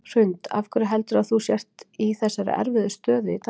Hrund: Af hverju heldurðu að þú sért í þessari erfiðu stöðu í dag?